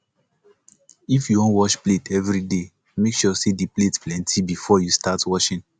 if yu wan wash plate evriday mek sure say di plates plenti bifor yu start washing